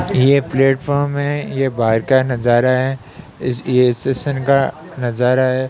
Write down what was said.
ये प्लेटफॉर्म है। यह बाहर का नजारा है। इस स्टेशन का नजारा है।